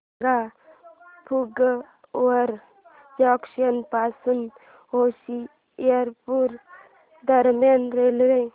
सांगा फगवारा जंक्शन पासून होशियारपुर दरम्यान रेल्वे